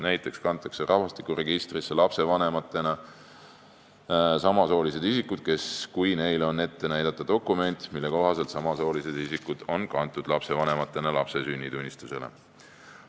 Näiteks kantakse rahvastikuregistrisse lapsevanematena samasoolised isikud, kui neil on ette näidata dokument, mille kohaselt samasoolised isikud on kantud lapsevanematena lapse sünnitunnistusele.